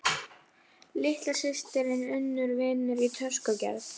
Hvað eftir annað las hún um stórglæpamenn í blöðunum og